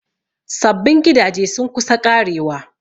Sabbin gidaje sun kusa ƙarewa.